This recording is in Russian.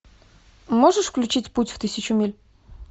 можешь включить путь в тысячу миль